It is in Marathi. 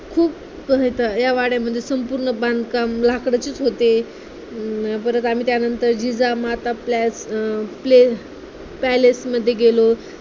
या वाड्यामध्ये संपूर्ण बांधकाम लाकडाचेचं होते, हम्म परत आम्ही त्यानंतर जिजामाता plus अं place palace मध्ये गेलो.